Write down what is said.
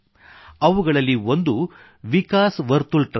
ಅವುಗಳಲ್ಲಿ ಒಂದು ವಿಕಾಸ್ ವರ್ತುಲ್ ಟ್ರಸ್ಟ್